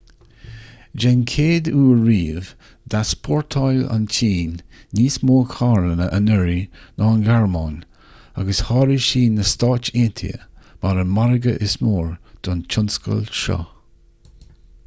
den chéad uair riamh d'easpórtáil an tsin níos mó carranna anuraidh ná an ghearmáin agus sháraigh sí na stáit aontaithe mar an margadh is mó don tionscal seo